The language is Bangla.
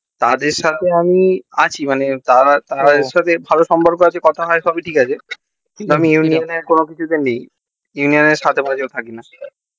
তাদের সাথে আছি আমি মানে তাদের সাথে ভালো সম্পর্ক আছে কথা হয় সবই ঠিক আছে কিন্তু আমি union এর কোনো কিছু তে নেই union এর সাথে পাচ্ছে থাকিনা